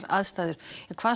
aðstæður hvað